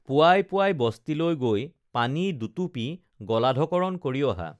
পুৱাই পুৱাই বস্তিলৈ গৈ পানী দুটুপি গলাধঃকৰণ কৰি অহা